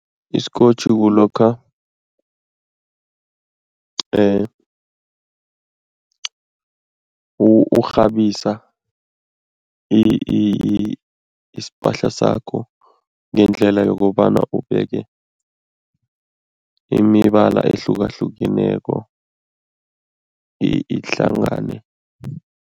Isikotjhi kulokha urhabisa isipahla sakho ngendlela yokobana ubeke imibala ehlukahlukeneko ihlangane.